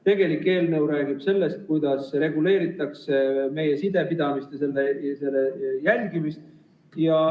Tegelik eelnõu räägib sellest, kuidas reguleeritakse meie sidepidamise jälgimist.